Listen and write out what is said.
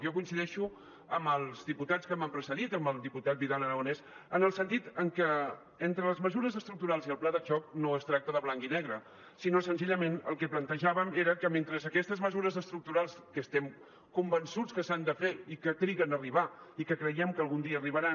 jo coincideixo amb els diputats que m’han precedit amb el diputat vidal aragonés en el sentit que entre les mesures estructurals i el pla de xoc no es tracta de blanc i negre sinó senzillament el que plantejàvem era que mentre aquestes mesures estructurals que estem convençuts que s’han de fer i que triguen a arribar i que creiem que algun dia arribaran